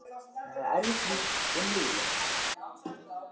Þetta var erfitt líf og niðurlægjandi.